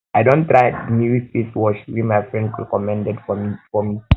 i don try di new face wash wey my friend recommend for me for me